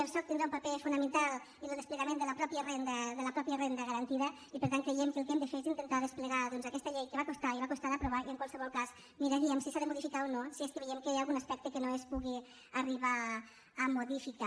el soc tindrà un paper fonamental en el desplegament de la mateixa renda garantida i per tant creiem que el que hem de fer és intentar desplegar doncs aquesta llei que va costar i va costar d’aprovar i en qualsevol cas miraríem si s’ha de modificar o no si és que veiem que hi ha algun aspecte que no es pugui arribar a modificar